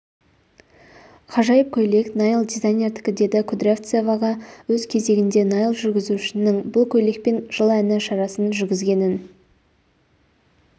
ғажайып көйлек наиль дизайнердікі деді кудрявцева өз кезегінде наиль жүргізушінің бұл көйлекпен жыл әні шарасын жүргізгенін